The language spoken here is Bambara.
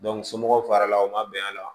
somɔgɔw farala o ma bɛn a la